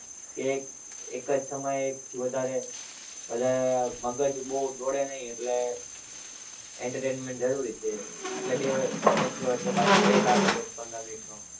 કે એક જ સમયે એક થી વધારે વધારે મગજ બહુ દોડે નહીં એટલે entertainment જરૂરી છે એટલે બે lecture વચ્ચે પાછો break આપે દસ પંદર મિનિટ નો.